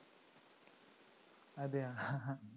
അതെയോ